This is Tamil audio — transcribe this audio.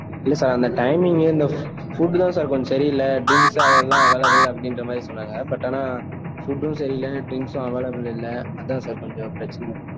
இல்லை sir அந்த timing இந்த food தான் sir கொஞ்சம் சரியில்லை. அப்பிடின்னு அதெல்லாம் நல்லாவே இல்ல அப்படின்ற மாதிரி சொன்னாங்க. but ஆனா, food ம் சரியில்லை, thingsம் available ஆ இல்லை. அதன் sir கொஞ்சம் பிரச்சனை